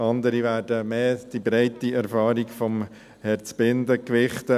Andere werden eher die breite Erfahrung von Herrn Zbinden gewichten.